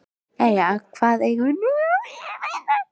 Jæja, hvar eigum við nú að leita? spurði hann.